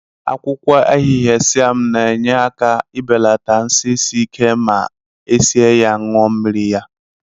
Akwụkwọ ahịhịa Siam na-enye aka ebelata nsị isi ike ma esie ya ṅụọ mmiri ya.